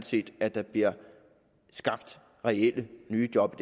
set at der bliver skabt reelle nye job